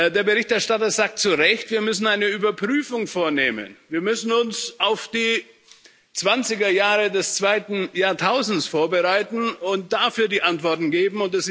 Der Berichterstatter sagt zu Recht, wir müssen eine Überprüfung vornehmen, wir müssen uns auf die 20er Jahre des zweiten Jahrtausends vorbereiten und dafür die Antworten geben.